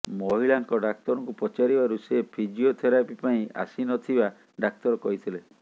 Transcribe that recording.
ମହିଳାଙ୍କ ଡାକ୍ତରଙ୍କୁ ପଚାରିବାରୁ ସେ ଫିଜିଓଥେରାପି ପାଇଁ ଆସି ନ ଥିବା ଡାକ୍ତର କହିଥିଲେ